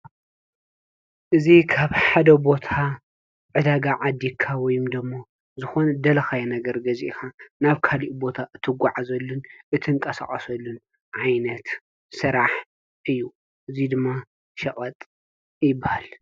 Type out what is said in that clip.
እዚ ካብ ሓደ ቦታ ዕዳጋ ዓዲግካ ወይም ደግሞ ዝኮነ ዝደለካዮ ነገር ገዚእካ ናብ ካሊእ ቦታ እትጓዓዘሉን እትንቀሳቀሰሉን ዓይነት ስራሕ እዩ። እዚ ድማ ሸቀጥ ይብሃል።